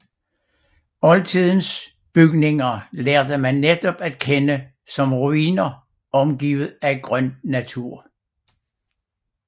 Oldtidens bygninger lærte man netop at kende som ruiner omgivet af grøn natur